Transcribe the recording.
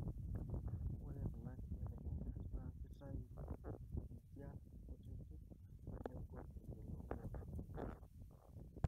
ore kuna kibelekenyat na kitayu injian kutitik nagol eyiolouni.